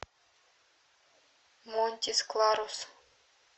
монтис кларус